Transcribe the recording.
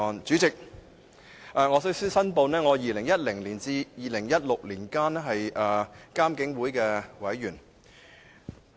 主席，首先，我要申報，我在2010年至2016年期間是獨立監察警方處理投訴委員會的委員。